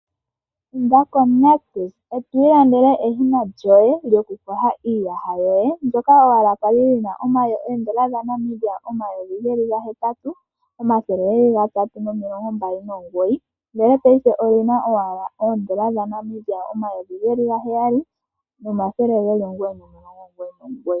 Inda koNictus eto ilandele eshina lyoye lyoku koha iiwasha yoye mbyoka wala kwali li na oondola N$8329.00 ndele paife oli na owala oondola N$7999.00.